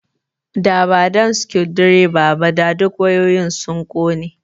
Da ba dan circuit breaker ba, da duk wayoyin sun kone